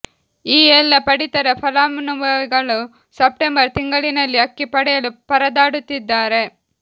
ಈ ಎಲ್ಲ ಪಡಿತರ ಫಲಾನುಭವಿಗಳು ಸೆಪ್ಟೆಂಬರ್ ತಿಂಗಳಿನಲ್ಲಿ ಅಕ್ಕಿ ಪಡೆಯಲು ಪರದಾಡುತ್ತಿದ್ದಾರೆ